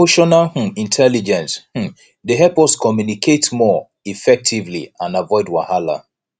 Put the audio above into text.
emotional um intelligence um dey help us communicate more effectively and avoid wahala